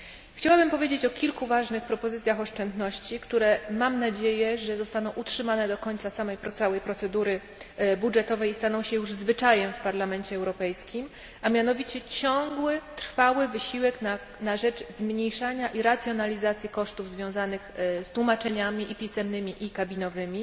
Chciałabym powiedzieć o kilku ważnych propozycjach oszczędności, które, mam nadzieję, zostaną utrzymane do końca całej procedury budżetowej i staną się już zwyczajem w Parlamencie Europejskim, a mianowicie ciągły i trwały wysiłek na rzecz zmniejszania i racjonalizacji kosztów związanych z tłumaczeniami pisemnymi i kabinowymi.